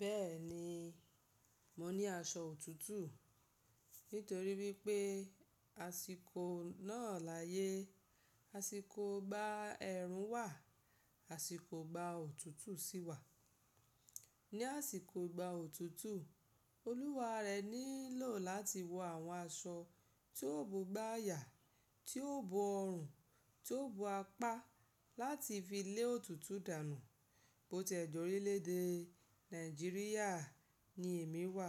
Bẹ́ẹ̀ni, mo ní aṣọ òtútù nítorí wípé àsìkò náà láyé, àsìkò gba ẹrùn wà, àsìkò gba òtútù sì wà. Ni àsìkò gba òtútù, olúwa rẹ nílò láti wọ àwọn aṣọ tí yóò bógbá yà, tí yóò bo ọrùn, tí yóò bo apá láti fi lé òtútù dànù. Bó tẹ̀ jọ́rí lédè Nàìjíríà ni èmi wà,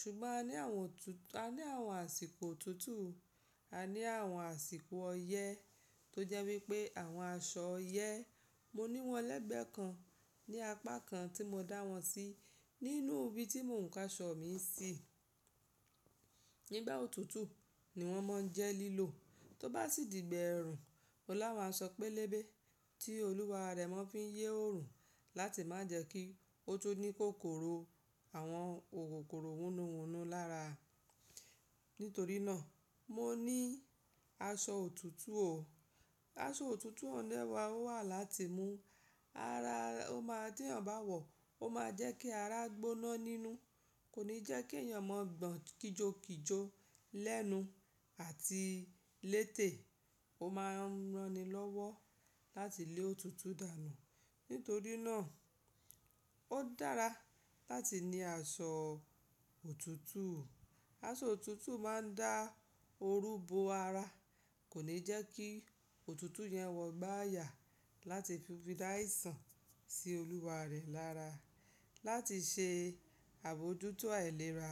ṣùgbọ́n a ní àwọn, a ní àwọn àsìkò òtútù, a ní àwọn àsìkò ọyẹ́ tó jẹ́ wípé àwọn aṣọ ọyẹ́, mo ní wọ́n lẹ́gbẹ̀ẹ́ kan ní apá kan tí mo dá wọn sí nínú ibi tí mò ń ka aṣọ mi sí. Nígbà òtútù ni wọ́n mọ ń jẹ́ lílò, tó bá sì dìgbẹ ẹrùn, ọlá máa sọ pẹ́lẹ́bẹ́ tí olúwa rẹ máa ń fi yẹ́ oòrùn láti má jẹ́ kí ó tó ní kòkòrò àwọn òkòkòrò wùnú wùnú lára. Nítorí náà, mo ní aṣọ òtútù o. Aṣọ òtútù ọ̀nẹ̀ wá wà láti mú ara ọ máa tí èèyàn bá wọ̀, ó máa jẹ́ kí ara gbóná nínú, kò ní jẹ́ kí èèyàn mọ gbọ̀n kíjòkíjò lẹ́nu àti létè. Ó máa ń rani lọ́wọ́ láti lé òtútù dànù. Nítorí náà, ó dára láti ní aṣọ òtútù o. Aṣọ òtútù máa ń dá oru bo ara, kò ní jẹ́ kí òtútù yẹn wọgbá yà láti fi dá èsàn sí olúwa rẹ̀ lára, láti ṣe àbójútó àìlera.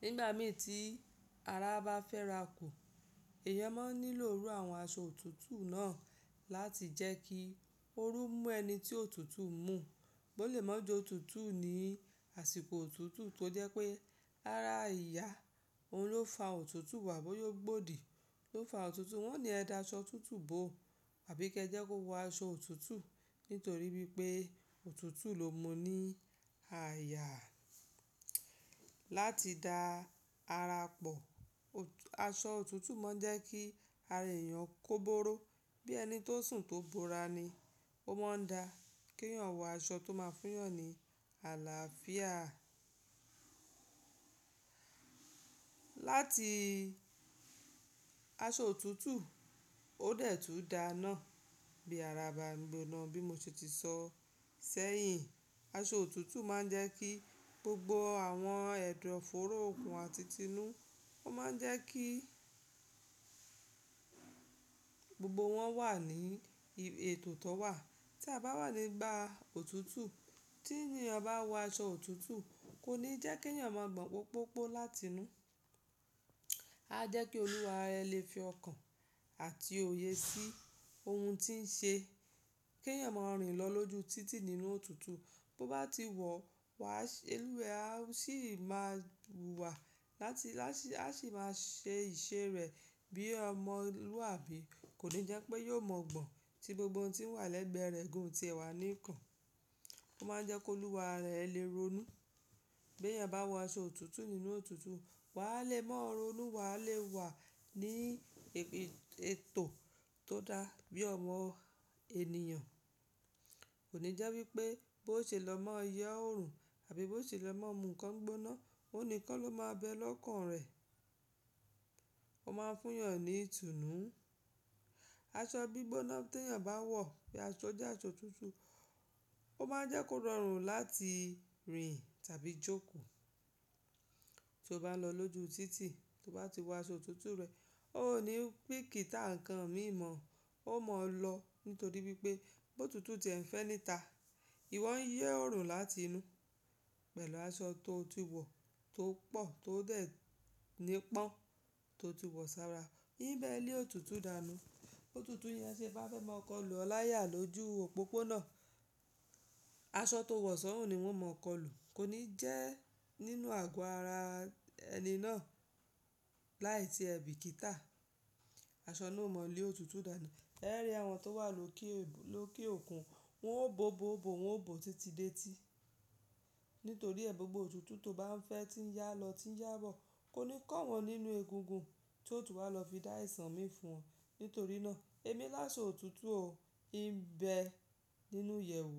Nígbà mẹ́ẹ́ tí ara bá fẹ́ra kù, èèyàn máa ń nílò rú àwọn aṣọ òtútù náà láti jẹ́ kí oru mú ẹni tí òtútù mú bó le mó ju òtútù ní àsìkò òtútù tó jẹ́ pé ara ìyá, òun ló fa òtútù wà bóyá ó gbòdì ló fa òtútù, wọ́n ni ẹ dá aṣọ òtútù bò àbí kẹ́ jẹ́ kó wọ aṣọ òtútù nítorí wípé òtútù ló mú ní àyà láti dá ara pò. Aṣọ òtútù máa ń jẹ́ kí ara èèyàn kó bóró bí ẹni tó sùn tó bóra ni. Ó máa ń dá kí èèyàn wọ aṣọ tó máa fún èèyàn ní àlàáfíà. Láti aṣọ òtútù ó dẹ̀ tú da iná bí ara bá ń gbóná bí mo ṣe ti sọ sẹ́yìn. Aṣọ òtútù máa ń jẹ́ kí gbogbo àwọn ẹ̀dọ̀ fóró òkun àti tinu, ó máa ń jẹ́ kí gbogbo wọn wà ní ètò tó wà. Tí a bá wà nígbà òtútù, tí èèyàn bá wọ aṣọ òtútù, kò ní jẹ́ kí èèyàn máa gbọ̀n pópópo láti inú. A jẹ́ kí olúwa rẹ lè fi ọkàn àti òye sí ohun tí ń ṣe. Kí èèyàn máa rìn lọ lóju títì nínú òtútù. Bo bá ti wọ̀, wà, ẹlúwẹ́ á sì máa bù wà láti, a sì máa ṣe ìṣe rẹ̀ bí ọmọlúwàbí. Kò ní jẹ́ pé yóò mọ̀ gbọ̀n tí gbogbo ohun tí ń wà lẹ́gbẹ̀ẹ́ rẹ̀ gùn tí ẹ wà ní ìkàn. Ó máa ń jẹ́ kí olúwa rẹ lè ronú bí èèyàn bá wọ aṣọ òtútù nínú òtútù. Wà á lè mọ̀ ronú, wà á lè wà ní ètò tó dá bí ọmọ ènìyàn. Kò ní jẹ́ wípé bó ṣe lọ máa yẹ́ oòrùn àbí bó ṣe lọ máa mú ǹkan gbóná, òun nìkan ló máa bẹ lọ́kàn rẹ̀. Ó máa ń fún èèyàn ní ìtùnú. Aṣọ gbígbóná tí èèyàn bá wọ̀ bí aṣọ jẹ́ aṣọ òtútù, ó máa ń jẹ́ kó rọrùn láti rìnrìn tàbí jókòó. Tó bá lọ lóju títì, tó bá ti wọ aṣọ òtútù rẹ̀, ó ní pé kítà ǹkan mí mọ̀, ó mọ̀ ọ́ lọ nítorí wípé bó òtútù tí ẹ̀ ń fẹ́ níta, ìwọ ń yẹ́ oòrùn láti inú pẹ̀lú aṣọ tó ti wọ̀, tó pọ̀, tó dẹ̀ nípọn, tó ti wọ̀ sára. Ní bẹ́ẹ̀ ni lé òtútù dànù. Ótútù yẹn ṣe bá fẹ́ máa kọlù ọ láyà lójú òpópónà, aṣọ tó wọ̀ sọ́hùn ni wọ́n máa kọlù. Kò ní jẹ́ nínú àgọ́ ara ẹni náà láì tí èbí kítà aṣọ náà mọ lé òtútù dànù. Ẹ rí àwọn tó wà lókè òkun, wọ́n ó bó bó bó, wọ́n ó bó títí dé tí. Nítorí ẹ́ gbogbo òtútù tó bá ń fẹ́ tí ń yá lọ, tí ń yá bọ̀, kò ní kàn wọ́n nínú egungun tí òtútù wa lọ fi dá èsàn mí fún wọn. Nítorí náà, èmi láṣọ òtútù o, ì ń bẹ nínú ìyẹ̀wù.